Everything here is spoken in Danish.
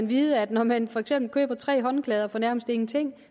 vide at når man for eksempel køber tre håndklæder for nærmest ingenting